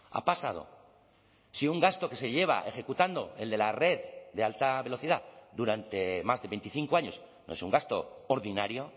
ha pasado si un gasto que se lleva ejecutando el de la red de alta velocidad durante más de veinticinco años no es un gasto ordinario